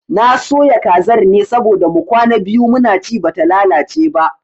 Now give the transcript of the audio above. Na soya kazar ne saboda mu kwana biyu muna ci bata lalace ba